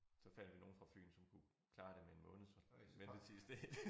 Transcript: Så fandt vi nogle fra Fyn som kunne klare det med en måneds ventetid i stedet